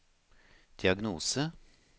diagnose